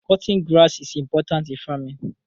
Cutting grass is important in faraming